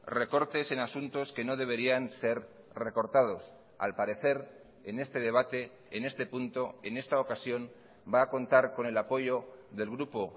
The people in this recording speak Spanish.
recortes en asuntos que no deberían ser recortados al parecer en este debate en este punto en esta ocasión va a contar con el apoyo del grupo